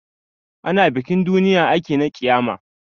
Ana bikin duniya ake na ƙiyama